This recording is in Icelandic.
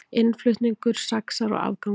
Innflutningur saxar á afganginn